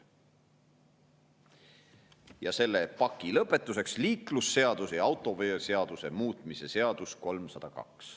Ja selle paki lõpetuseks: liiklusseaduse ja autoveoseaduse muutmise seaduse eelnõu 302.